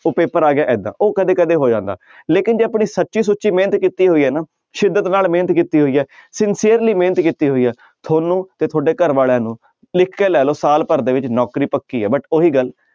ਉਹ ਪੇਪਰ ਆ ਗਿਆ ਏਦਾਂ ਉਹ ਕਦੇ ਕਦੇ ਹੋ ਜਾਂਦਾ ਲੇਕਿੰਨ ਜੇ ਆਪਣੀ ਸੱਚੀ ਸੁੱਚੀ ਮਿਹਨਤ ਕੀਤੀ ਹੋਈ ਹੈ ਨਾ ਸਿੱਦਤ ਨਾਲ ਮਿਹਨਤ ਕੀਤੀ ਹੋਈ ਹੈ sincerely ਮਿਹਨਤ ਕੀਤੀ ਹੋਈ ਹੈ ਤੁਹਾਨੂੰ ਤੇ ਤੁਹਾਡੇ ਘਰ ਵਾਲਿਆਂ ਨੂੰ ਲਿਖ ਕੇ ਲੈ ਲਓ ਸਾਲ ਭਰ ਦੇ ਵਿੱਚ ਨੌਕਰੀ ਪੱਕੀ ਹੈ but ਉਹੀ ਗੱਲ